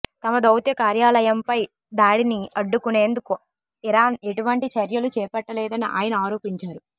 తమ దౌత్య కార్యాలయంపై దాడిని అడ్డుకునేందుకు ఇరాన్ ఎటువంటి చర్యలు చేపట్టలేదని ఆయన ఆరోపించారు